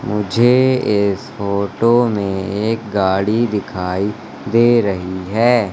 मुझे इस फोटो में एक गाड़ी दिखाई दे रही है।